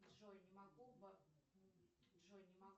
джой не могу джой не могу